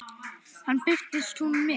Þarna birtist hún mér.